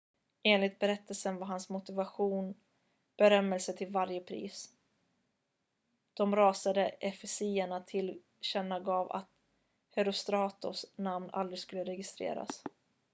enligt berättelsen var hans motivation berömmelse till varje pris de rasande efesierna tillkännagav att herostratos namn aldrig skulle registreras